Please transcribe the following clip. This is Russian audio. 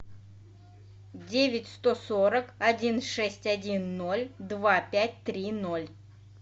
девять сто сорок один шесть один ноль два пять три ноль